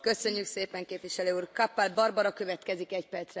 Frau Präsidentin, Herr Vizepräsident der Kommission!